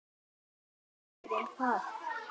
Þessi bók er um það.